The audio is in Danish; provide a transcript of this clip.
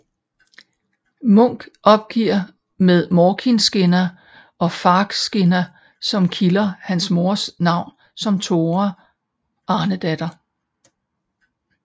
Munch opgiver med Morkinskinna og Fagrskinna som kilder hans mors navn som Tora Arnedatter